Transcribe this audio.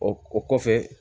O o kɔfɛ